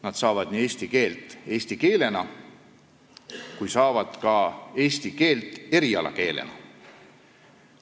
Nad õpivad eesti keelt nii eesti keele tunnis kui õpivad eesti keelt ka erialakeelena.